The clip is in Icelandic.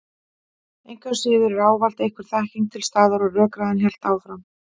Engu að síður var ávallt einhver þekking til staðar og rökræðan hélt áfram.